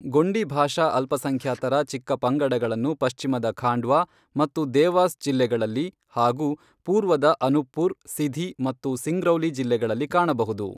ಗೊಂಡಿ ಭಾಷಾ ಅಲ್ಪಸಂಖ್ಯಾತರ ಚಿಕ್ಕಪಂಗಡಗಳನ್ನು ಪಶ್ಚಿಮದ ಖಾಂಡ್ವಾ ಮತ್ತು ದೇವಾಸ್ ಜಿಲ್ಲೆಗಳಲ್ಲಿ ಹಾಗೂ ಪೂರ್ವದ ಅನುಪ್ಪುರ್, ಸಿಧಿ ಮತ್ತು ಸಿಂಗ್ರೌಲಿ ಜಿಲ್ಲೆಗಳಲ್ಲಿ ಕಾಣಬಹುದು.